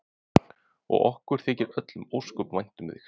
Og okkur þykir öllum ósköp vænt um þig.